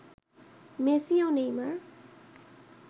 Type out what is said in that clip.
Messi ও Neymar